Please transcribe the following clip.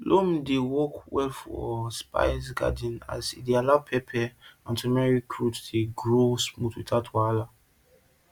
loam dey work well for spice gardens as e allow pepper and turmeric root grow smooth without wahala